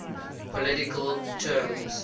political terms